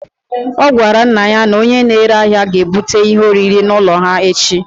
Ọ gwara nna ya na onye na-ere ahịa ga-ebute ihe oriri n'ụlọ ha echi